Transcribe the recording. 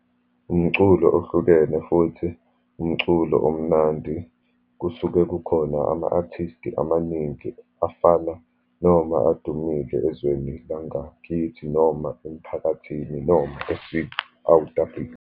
Umculo ohlukene, futhi umculo omnandi kusuke kukhona ama-artisti amaningi afana, noma adumile ezweni langakithi, noma emphakathini, noma .